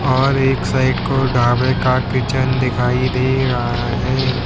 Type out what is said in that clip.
और एक साइड को ढाबे का किचन दिखाइ दे रहा है।